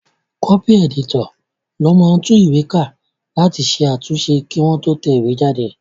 Kọ́pì ẹ̀dítọ̀ ló máa ń tún ìwé ká láti ṣe àtúnṣe kí wọ́n tó tẹ̀ ẹ́ jáde